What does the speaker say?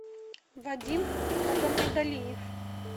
вадим магомедалиев